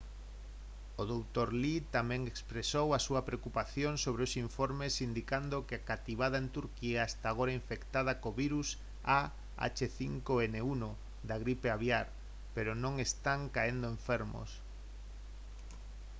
o dr. lee tamén expresou a súa preocupación sobre os informes indicando que a cativada en turquía está agora infectada co virus ah5n1 da gripe aviar pero non están caendo enfermos